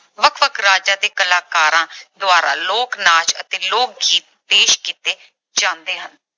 ਵੱਖ-ਵੱਖ ਰਾਜਾਂ ਦੇ ਕਲਾਕਾਰਾਂ ਦੁਆਰਾ ਲੋਕ-ਨਾਚ ਅਤੇ ਲੋਕ-ਗੀਤ ਪੇਸ਼ ਕੀਤੇ ਜਾਂਦੇ ਹਨ।